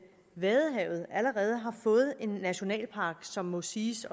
vadehavet allerede har fået en nationalpark som må siges